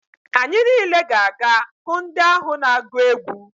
Anyị niile ga-aga hụ ndị ahụ na-agụ egwu.